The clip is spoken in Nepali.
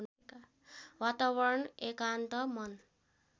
वातावरण एकान्त मन